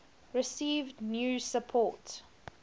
received new support